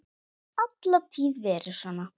Hefur alla tíð verið svona.